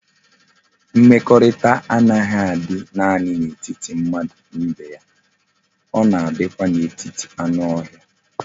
Mmekorita a naghi adi nani na etiti mmadu na ibe ya,o na adikwa na etiti anu ohia